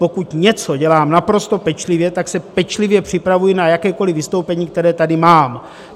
Pokud něco dělám naprosto pečlivě, tak se pečlivě připravuji na jakékoliv vystoupení, které tady mám.